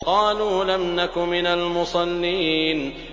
قَالُوا لَمْ نَكُ مِنَ الْمُصَلِّينَ